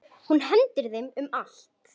Hún hendir þeim um allt.